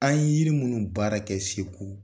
An ye yiri minnu baara kɛ Segu